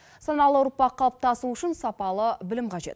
саналы ұрпақ қалыптасуы үшін сапалы білім қажет